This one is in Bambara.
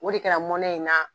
O de kɛra mɔnɛ ye n na.